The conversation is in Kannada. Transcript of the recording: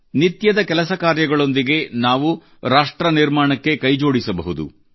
ನಿತ್ಯದ ಕೆಲಸ ಕಾರ್ಯಗಳೊಂದಿಗೆ ನಾವು ರಾಷ್ಟ್ರ ನಿರ್ಮಾಣಕ್ಕೆ ಕೈಜೋಡಿಸಬಹುದು